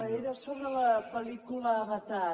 era sobre la pel·lícula avatar